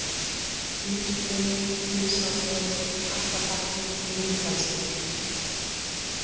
Útbruni, Gilsármelur, Kattabakki, Mýrdalsgil